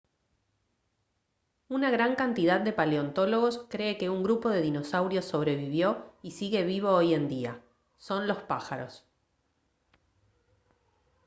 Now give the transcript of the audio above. una gran cantidad de paleontólogos cree que un grupo de dinosaurios sobrevivió y sigue vivo hoy en día son los pájaros